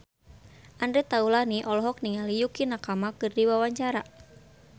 Andre Taulany olohok ningali Yukie Nakama keur diwawancara